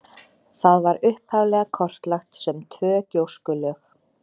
Það var upphaflega kortlagt sem tvö gjóskulög.